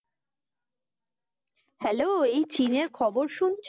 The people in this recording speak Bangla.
Hello এই চীনের খবর শুনছো,